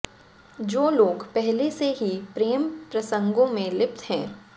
जो लोग पहले से ही प्रेम प्रसंगों में लिप्त हैं